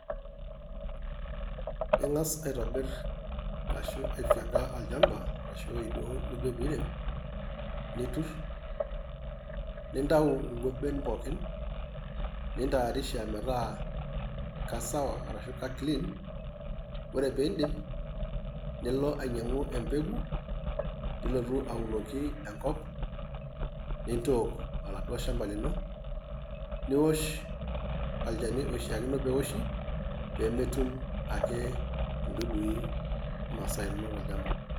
Ing'as aitobir ashu aifieka olchamba, ashu ewueji duo nindibiri, netur, nintau nkoben pookin, nintaarisha metaa kesawa arashu ka clean. Ore piidip, nilo ainyang'u empegu, nilotu aunoki enkop, nintook oladuo shampa lino. Niwosh olnchani oishaakino pewoshi, pemetum ake intuduii imasaa inonok tolchamba.